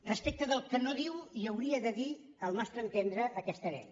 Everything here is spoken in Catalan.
respecte del que no diu i hauria de dir al nostre entendre aquesta llei